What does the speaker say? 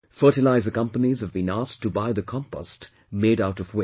Fertilizer companies have been asked to buy the Compost made out of waste